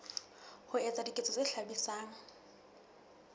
ho etsa diketso tse hlabisang